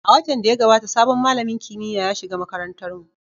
A watan da ya gabata, sabon malamin kimiyya ya shiga makarantarmu.